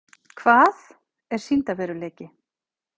Hvað er sýndarveruleiki?